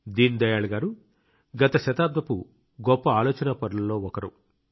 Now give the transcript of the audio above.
దీన్ దయాళ్ గారు గత శతాబ్దపు గొప్ప ఆలోచనాపరులలో ఒకరు